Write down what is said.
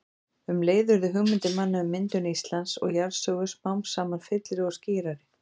Um leið urðu hugmyndir manna um myndun Íslands og jarðsögu smám saman fyllri og skýrari.